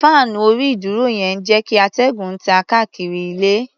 Fáànù orí-ìdúró yẹn ń jẹ́ kíatẹ́gùn tàn káàkiri ilé.